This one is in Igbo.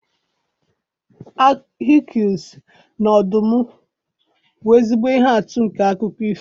Hekuls na ọdụm bụ ezigbo ihe atụ nke akụkọ ifo.